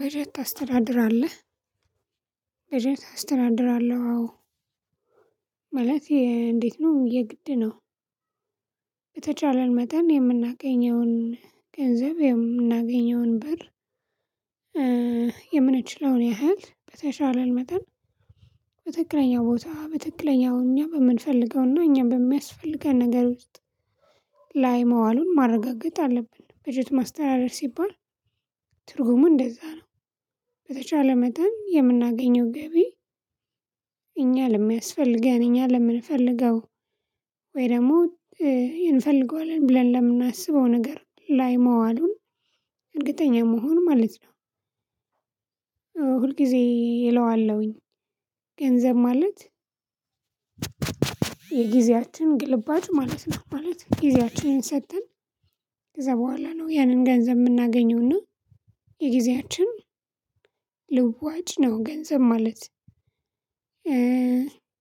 በጀት ታስተዳድራለህ? በጀት አስተዳድራለሁ አዎ ማለት እንዴት ነው የግድ ነው። በተቻለን መጠን የምናገኘውን ገንዘብ የምናገኘውን ብር የምንችለውን ያህል በተቻለን መጠን በትክክለኛው ቦታ በትክክለኛው እኛ በምንፈልገውና እኛ በሚያስፈልገን ነገር ውስጥ ላይ መዋሉን ማረጋገጥ አለብን በጀት ማስተዳደር ሲባል ትርጉሙ እንደዛ ነው። በተቻለ መጠን የምናገኘው ገቢ እኛ ለሚያስፈልገን እኛ ለምንፈልገው ወይ ደግሞ እንፈልገዋለን ብለን ለምናስበው ነገር ላይ መዋሉን እርግጠኛ መሆን ማለት ነው። ሁል ጊዜ እለዋለሁኝ። ገንዘብ ማለት የጊዜያችን ግልባጭ ማለት ነው ማለት ጊዜያችንን ሰጥተን ከዛ በኋላ ነው ያንን ገንዘብ የምናገኘውና የጊዜያችን ልዋጭ ነው። ገንዘብ ማለት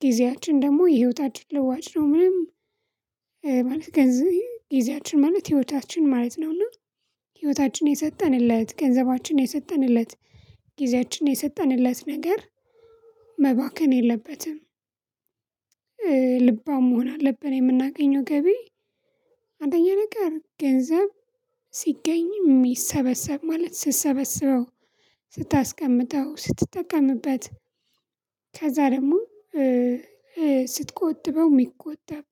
ጊዜያችን ደግሞ የህይወታችን ለዋጭ ነው። ምንም ማለት ገንዘብ ጊዜያችን ማለት ህይወታችን ማለት ነውና ህይወታችን የሰጠንለት ገንዘባችን የሰጠንለት ጊዜያችን የሰጠንለት ነገር መባከን የለበትም። ልባም መሆን አለብን። የምናገኘው ገቢ አንደኛ ነገር ገንዘብ ሲገኝም የሚሰበሰብ ማለት ስትሰበስበው ስታስቀምጠው ስትጠቀምበት ከዛ ደግሞ ስትቆጥበው የሚቆጠብ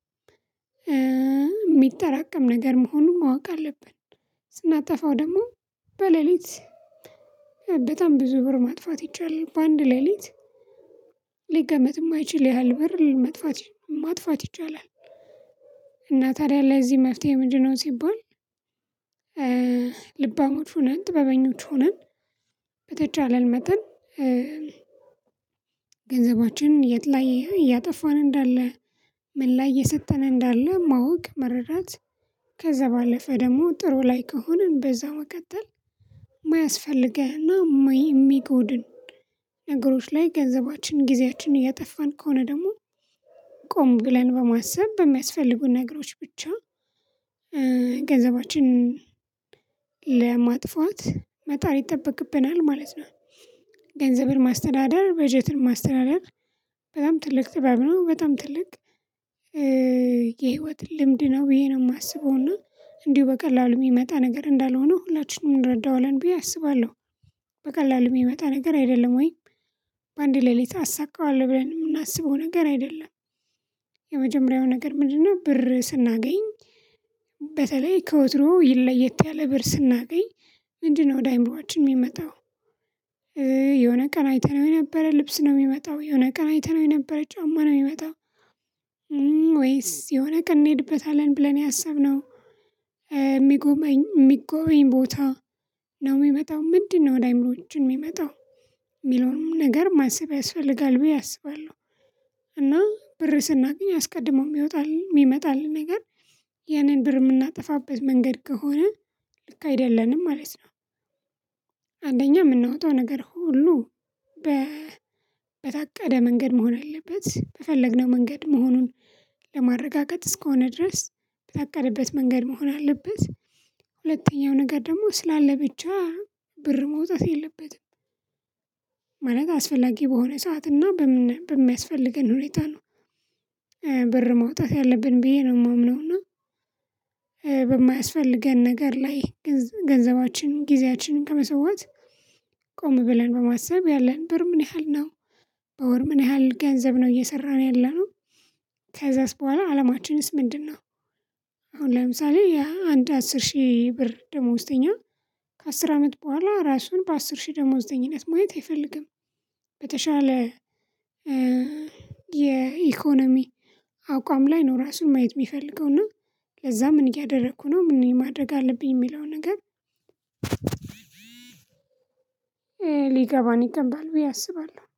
የሚጠራቀም ነገር መሆኑን ማወቅ አለብን። ስናጠፋው ደግሞ በሌሊት በጣም ብዙ ብር ማጥፋት ይቻላል በአንድ ሌሊት ሊገመት የማይችል ያህል ብር ማጥፋት ይቻላል። እና ታዲያ ለዚህ መፍትሄ ምንድነው? ሲባል ልባሞች ሆነን ጥበበኞች ሆነን በተቻለን መጠን ገንዘባችንን የት ላይ እያጠፋን እንዳለ ምን ላይ እየሰጠን እንዳለ ማወቅ መረዳት ከዛ ባለፈ ደግሞ ጥሩ ላይ ከሆንን በዛ መቀጠል የማያስፈልገንና የሚጎድን ነገሮች ላይ ገንዘባችን ጊዜያችን እያጠፋን ከሆነ ደግሞ ቆም ብለን በማሰብ በሚያስፈልጉን ነገሮች ብቻ ገንዘባችንን ለማጥፋት መጣር ይጠበቅብናል ማለት ነው። ገንዘብን ማስተዳደር በጀትን ማስተዳደር በጣም ትልቅ ጥበብ ነው በጣም ትልቅ የህይወት ልምድ ነው ብዬ ነው የማስበው እና እንዲሁ በቀላሉ የሚመጣ ነገር እንዳልሆነ ሁላችንም እንረዳዋለን ብዬ አስባለሁ። በቀላሉ የሚመጣ ነገር አይደለም ወይ በአንድ ሌሊት አሳካዋለሁ ብለን የምናስበው ነገር አይደለም። የመጀመሪያው ነገር ምንድነው? ብር ስናገኝ በተለይ ከወትሮ ለየት ያለ ብር ስናገኝ ምንድነው? ወደ አይምሮአችን የሚመጣው የሆነ ቀን አይተነው የነበረ ልብስ ነው የሚመጣው የሆነ ቀን አይተነው የነበረ ጫማ ነው የሚመጣው። ወይስ የሆነ ቀን እንሄድበታለን ብለን ያሰብነው የሚጎበኝ የሚጎበኝ ቦታ ነው የሚመጣው ምንድነው? ወደ አይምሮአችን የሚመጣው የሚለውንም ነገር ማሰብ ያስፈልጋል ብዬ አስባለሁ። እና ብር ስናገኝ አስቀድሞ የሚወጣል የሚመጣልን ነገር ያንን ብር የምናጠፋበት መንገድ ከሆነ ልክ አይደለንም ማለት ነው። አንደኛ የምናወጣው ነገር ሁሉ በታቀደ መንገድ መሆን አለበት በፈለግነው መንገድ መሆኑን ለማረጋገጥ እስከሆነ ድረስ በታቀደበት መንገድ መሆን አለበት። ሁለተኛው ነገር ደግሞ ስላለ ብቻ ብር መውጣት የለበትም። ማለት አስፈላጊ በሆነ ሰዓት እና በምን በሚያስፈልገን ሁኔታ ነው። ብር ማውጣት ያለብን ብዬ ነው የማምነው። እና በማያስፈልገን ነገር ላይ ገንዘባችንን ጊዜያችንን ከመሰወት ቆም ብለን በማሰብ ያለን ብር ምን ያህል ነው? በወር ምን ያህል ገንዘብ ነው እየሰራን ያለነው። ከዛስ በኋላ አላማችንስ ምንድነው? አሁን ለምሳሌ የአንድ አስር ሺህ ብር ደሞዝተኛ ከአስር አመት በኋላ ራሱን በአስር ሺህ ደሞዝተኝነት ማየት አይፈልግም። በተሻለ የኢኮኖሚ አቋም ላይ ነው ራሱን ማየት የሚፈልገው እና ለዛ ምን እያደረኩ ነው ምን ማድረግ አለብኝ የሚለው ነገር። ሊገባን ይገባል ብዬ አስባለሁ